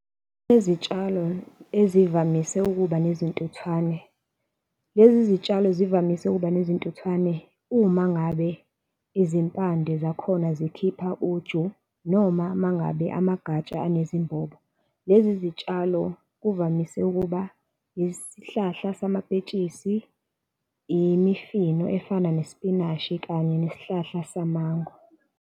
Izitshalo ezivamise ukuba nezintuthwane. Lezi zitshalo zivamise ukuba nezintuthwane uma ngabe izimpande zakhona zikhipha uju, noma uma ngabe amagatsha anezimbobo. Lezi zitshalo kuvamise ukuba yisihlahla samapetshisi, imifino efana nespinashi kanye nesihlahla samango.